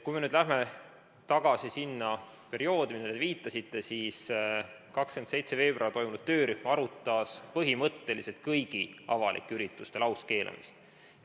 Kui me lähme tagasi sinna perioodi, millele te viitasite, siis 27. veebruaril töörühm arutas põhimõtteliselt kõigi avalike ürituste lauskeelamist.